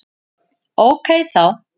Ókei þá!